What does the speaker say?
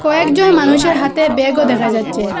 কয়েকজন মানুষের হাতে ব্যাগও দেখা যাচ্ছে।